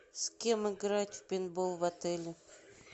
с кем играть в пейнтбол в отеле